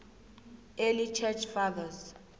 early church fathers